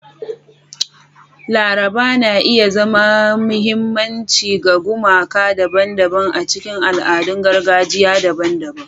Laraba na iya zama mahimmanci ga gumaka daban-daban a cikin al'adun gargajiya daban-daban.